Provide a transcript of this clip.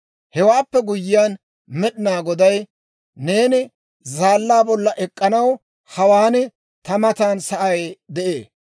Hewaappe guyyiyaan Med'inaa Goday, «Neeni zaallaa bolla ek'k'anaw hawaan ta matan sa'ay de'ee.